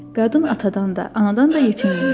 Qadın atadan da, anadan da yetimmiş.